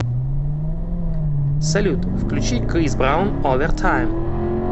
салют включи крис браун овертайм